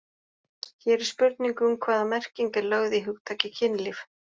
Hér er spurning um hvaða merking er lögð í hugtakið kynlíf.